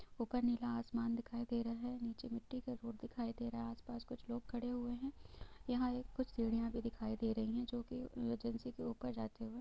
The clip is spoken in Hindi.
ऊपर नीला आसमान दिखाई दे रहा है| नीचे मट्टी का रोड दिखाई दे रहा है| आस पास कुछ लोग खड़े हुए हैं| यहाँ एक कुछ सीढ़िया भी दिखाई दे रही है जो के एजेंसी के उप जाती हुई--